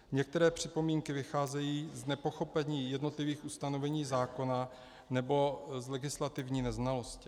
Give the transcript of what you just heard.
Některé připomínky vycházejí z nepochopení jednotlivých ustanovení zákona nebo z legislativní neznalosti.